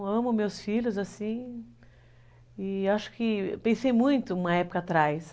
Eu amo meus filhos, assim, e acho que eu pensei muito uma época atrás.